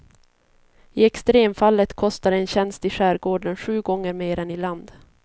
I extremfallet kostar en tjänst i skärgården sju gånger mer än i land.